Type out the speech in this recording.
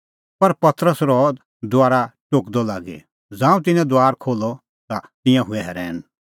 पर पतरस रहअ दुआरा टोकदअ लागी ज़ांऊं तिन्नैं दुआर खोल्हअ ता तिंयां हुऐ रहैन